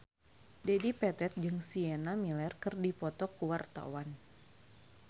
Dedi Petet jeung Sienna Miller keur dipoto ku wartawan